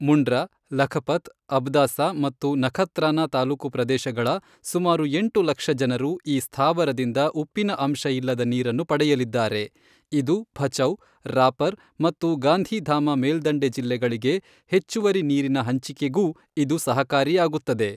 ಮುಂಡ್ರಾ, ಲಖಪತ್, ಅಬ್ದಾಸಾ ಮತ್ತು ನಖತ್ರಾನಾ ತಾಲೂಕು ಪ್ರದೇಶಗಳ ಸುಮಾರು ಎಂಟು ಲಕ್ಷ ಜನರು ಈ ಸ್ಥಾವರದಿಂದ ಉಪ್ಪಿನ ಅಂಶ ಇಲ್ಲದ ನೀರನ್ನು ಪಡೆಯಲಿದ್ದಾರೆ, ಇದು ಭಚೌ, ರಾಪರ್ ಮತ್ತು ಗಾಂಧಿಧಾಮ ಮೇಲ್ದಂಡೆ ಜಿಲ್ಲೆಗಳಿಗೆ ಹೆಚ್ಚುವರಿ ನೀರಿನ ಹಂಚಿಕೆಗೂ ಇದು ಸಹಕಾರಿಯಾಗುತ್ತದೆ.